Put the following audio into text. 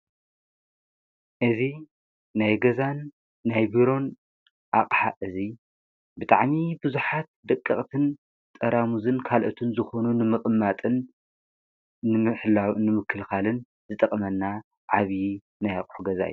እዚ ናይ ገዛን ናይ ቢሮን ኣቕሓ እዚ ብጣዕሚ ብዙሓት ደቀቕትን ጠራሙዝን ካልኦትን ዝኾኑ ንምቕማጥን ንምሕላው ንምክልኻልን ዝጠቕመና ዓብዪ ናይ ኣቕሑ ገዛ እዩ።